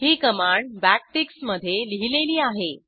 ही command backticksमधे लिहिलेली आहे